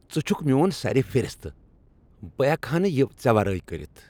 ژٕ چُھکھ میون سَرِفرِستہٕ! بہٕ ہیکہٕ ہا نہٕ یِہ ژے ورٲے کٔرِتھ۔